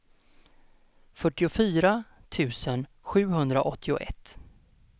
fyrtiofyra tusen sjuhundraåttioett